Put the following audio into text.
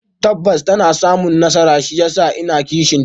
Tabbas ta na samu nasara shiyasa in na kishinta.